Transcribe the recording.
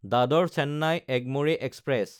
দাদৰ–চেন্নাই Egmore express